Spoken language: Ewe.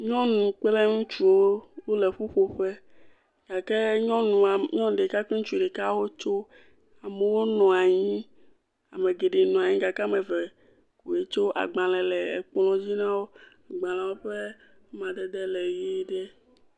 Nyɔnu kple ŋutsuwo, wole ƒuƒoƒe. Gake nyɔnua, nyɔnu ɖeka kple ŋutsu ɖeka wotso. Amewo nɔ anyi. Ame geɖee nɔ anyi gake ame eve wotso. Agbalẽ le ekplɔ̃dzi na wo. Agbalẽwo ƒe amadede le ʋii ɖe.